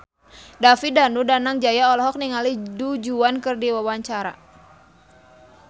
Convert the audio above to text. David Danu Danangjaya olohok ningali Du Juan keur diwawancara